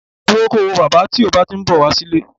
Dúró ko wo bàbá tí o bá ti ń bọ̀ wá sí ilé